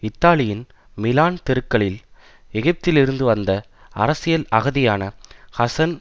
இத்தாலியின் மிலான் தெருக்களில் எகிப்திலிருந்து வந்த அரசியல் அகதியான ஹசன்